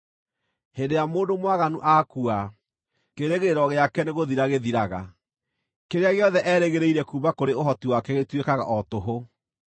Hĩndĩ ĩrĩa mũndũ mwaganu aakua, kĩĩrĩgĩrĩro gĩake nĩgũthira gĩthiraga; kĩrĩa gĩothe eerĩgĩrĩire kuuma kũrĩ ũhoti wake gĩtuĩkaga o tũhũ.